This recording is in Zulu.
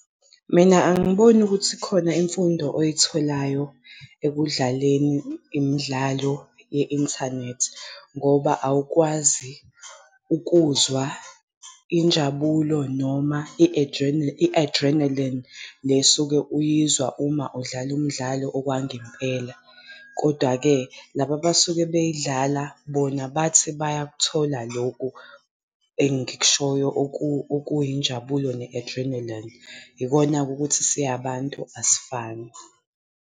Mina angiboni ukuthi khona imfundo oyitholayo ekudlaleni imidlalo ye-inthanethi, ngoba awukwazi ukuzwa injabulo noma i-adrenaline, le esuke uyizwa uma udlala umdlalo okwangempela. Kodwa-ke laba abasuke beyidlala bona bathi bayakuthola lokhu engikushoyo okuyinjabulo ne-adrenaline. Yikona-ke ukuthi siyabantu asifani.